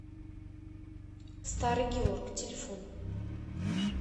старый георг телефон